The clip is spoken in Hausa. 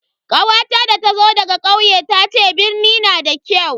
kawata da ta zo daga kauye tace birni na da kyau.